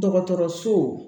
Dɔgɔtɔrɔso